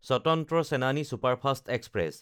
Swatantra Senani superfast express